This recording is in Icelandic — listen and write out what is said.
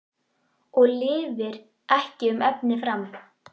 Og lifir ekki um efni fram?